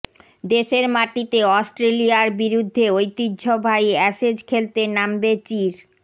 দেশের মাটিতে অস্ট্রেলিয়ার বিরুদ্ধে ঐতিহ্য়বাহী অ্যাশেজ খেলতে নামবে চির